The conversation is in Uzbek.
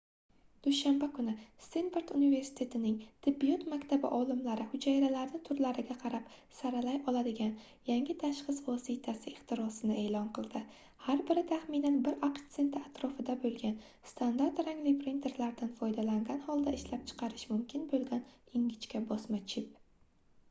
dushanba kuni stenford universitetining tibbiyot maktabi olimlari hujayralarni turlariga qarab saralay oladigan yangi tashxis vositasi ixtirosini eʼlon qildi har biri taxminan bir aqsh senti atrofida boʻlgan standart rangli printerlardan foydalangan holda ishlab chiqarish mumkin boʻlgan ingichka bosma chip